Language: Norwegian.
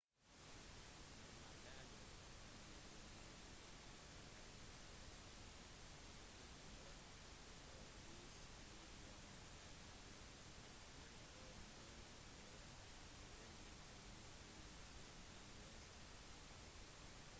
når man lager en dvd vil ytterkantene mest sannsynlig bli kuttet bort og hvis videoen har undertekster for nær bunnen vil de ikke bli fullstendig vist